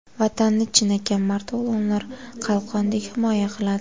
Vatanni chinakam mard o‘g‘lonlar qalqondek himoya qiladi.